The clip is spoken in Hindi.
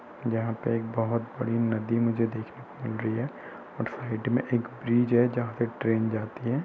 जहाँ पे एक बहोत बड़ी नदी मुझे दिखने को मिल रही है। और साईड में एक ब्रिज है जहाँ से ट्रेन जाती है।